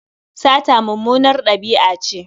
Sata mummunar ɗabi'a ce.